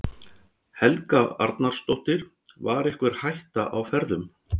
Helga Arnardóttir: Var einhver hætta á ferðum?